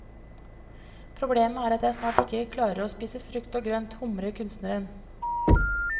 Problemet er at jeg snart ikke klarer å spise frukt og grønt, humrer kunstneren.